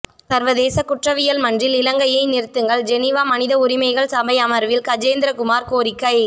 சர்வதேச குற்றவியல் மன்றில் இலங்கையை நிறுத்துங்கள் ஜெனீவா மனித உரிமைகள் சபை அமர்வில் கஜேந்திரகுமார் கோரிக்கை